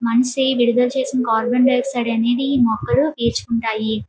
మనిషి విడుదల చేసిన కార్బన్ డయాక్సైడ్ ని ఈ మొక్కలు పీల్చుకుంటాయి.